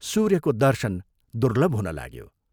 सूर्यको दर्शन दुर्लभ हुन लाग्यो।